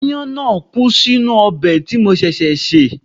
Aáyán náà kú sínú ọbẹ̀ tí mo ṣẹ̀ṣẹ̀ sè